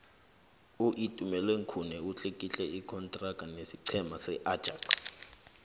uitumeleng khune utlikitle ikontraga nesiqhema seajax